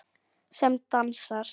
Sem dansar.